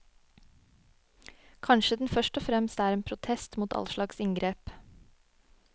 Kanskje den først og fremst er en protest mot allslags inngrep.